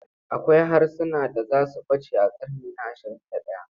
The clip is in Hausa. Akwai harsunan da za su ɓace a ƙarni na ashirin da ɗaya.